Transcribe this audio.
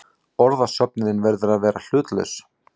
Orðasöfnunin verður að vera hlutlaus.